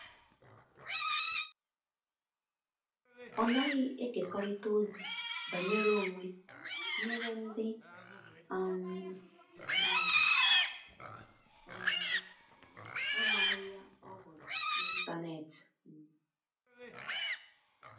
Ọ naghi ekekorita ozi banyere onwe nyere ndi um na um amaghi ya ọ huru n'intanetị um